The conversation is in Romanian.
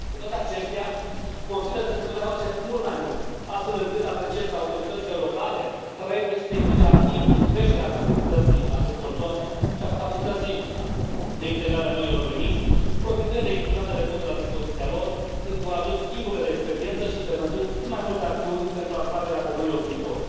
Cu toate acestea, consider că se putea face mult mai mult, astfel încât apreciez că autoritățile locale trebuie să se implice activ în creșterea atractivității acestor zone și a capacității de integrare a noilor veniți, profitând de instrumentele puse la dispoziția lor, încurajând schimburile de experiență și implementând cât mai multe acțiuni pentru atragerea de noi locuitori.